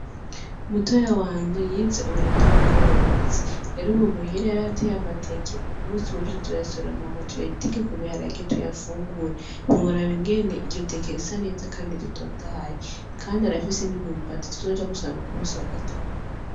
Mutoya wanje yize uburimyi n'ubworozi, rero ubu muhira yarahatey'amateke ,kumusi w'ejo tuzoyasoroma hama tuyateke kubiharage hama tuyafungure, ntiworaba ingene iryo teke risa neza kandi ritotahaye, kandi arafise n'imyibati tuzoja gusoroma kumunsi wa gatanu.